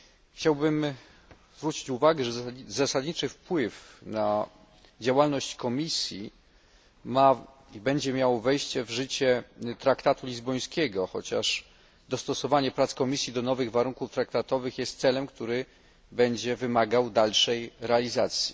Chciałbym zwrócić uwagę, że zasadniczy wpływ na działalność komisji będzie miało wejście w życie traktatu lizbońskiego, chociaż dostosowanie prac komisji do nowych warunków traktatowych jest celem, który będzie wymagał dalszej realizacji.